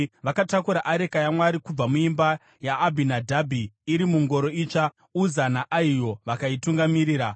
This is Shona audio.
Vakatakura areka yaMwari kubva muimba yaAbhinadhabhi iri mungoro itsva, Uza naAhio vakaitungamirira.